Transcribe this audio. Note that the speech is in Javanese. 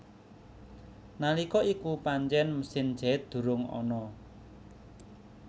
Nalika iku pancen mesin jait durung ana